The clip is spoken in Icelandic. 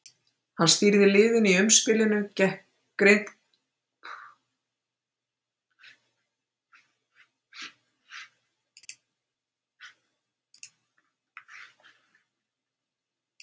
Hann stýrði liðinu í umspilinu gekk Grikklandi þar sem Króatía var örugglega áfram.